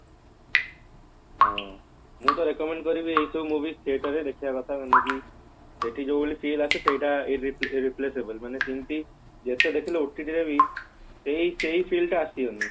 ହଁ ମୁଁ ତ recommended କରିବି ଏଇସବୁ movie theater ରେ ଦେଖିବା କଥା ଆମକୁ ସେଠି ଯୋଉ ଭଳି feel ଆସେ ସେଟା ମାନେ ଯେମତି ସେଇ ସେଇ feel ଟା ଆସିବନି